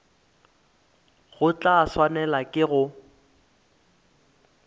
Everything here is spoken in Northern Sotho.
o tla swanelwa ke go